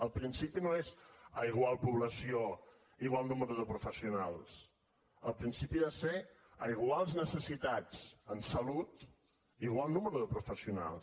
el principi no és a igual població igual nombre de professionals el principi ha de ser a iguals necessitats en salut igual nombre de professionals